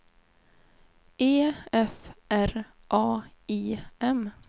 E F R A I M